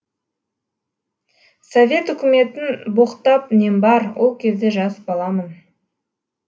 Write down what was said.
совет үкіметін боқтап нем бар ол кезде жас баламын